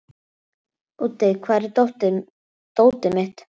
Úddi, hvar er dótið mitt?